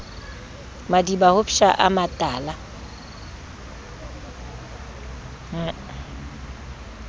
madiba ho psha a matala